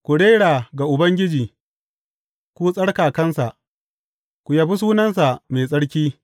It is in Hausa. Ku rera ga Ubangiji, ku tsarkakansa; ku yabi sunansa mai tsarki.